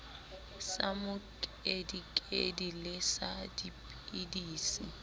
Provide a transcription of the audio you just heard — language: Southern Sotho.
sa mokedikedi le sa dipidisi